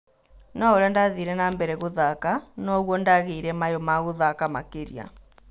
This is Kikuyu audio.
No-ũrĩa ndathire nambere gũthaka noguo ndagĩire mayu ma-gũthaka makĩria.